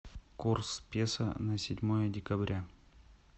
курс песо на седьмое декабря